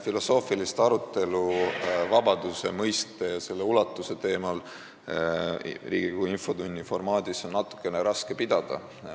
Filosoofilist arutelu vabaduse mõiste ja selle ulatuse teemal on Riigikogu infotunni formaadis natukene raske pidada.